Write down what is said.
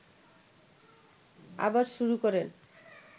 আবার শুরু করেন